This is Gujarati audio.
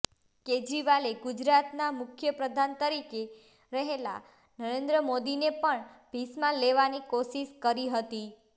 કેજરીવાલે ગુજરાતના મુખ્ય પ્રધાન તરીકે રહેલા નરેન્દ્ર મોદીને પણ ભીંસમાં લેવાની કોશિશ કરી હતી